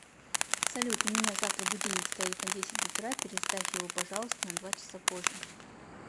салют у меня завтра будильник стоит на десять утра переставь его пожалуйста на два часа позже